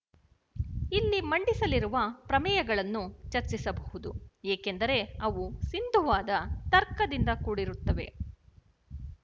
ಇಲ್ಲಿ ಮಂಡಿಸಲಿರುವ ಪ್ರಮೇಯಗಳನ್ನು ಚರ್ಚಿಸಬಹುದು ಏಕೆಂದರೆ ಅವು ಸಿಂಧುವಾದ ತರ್ಕದಿಂದ ಕೂಡಿರುತ್ತವೆ